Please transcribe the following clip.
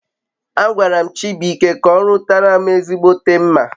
Agwaram Chibuike ka orutaram ezigbote mma